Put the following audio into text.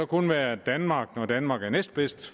kun være danmark når danmark er næstbedst